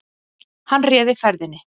Hann réði ferðinni